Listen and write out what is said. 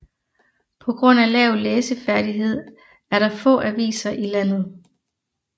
På grund af lav læseferdighed er der få aviser i landet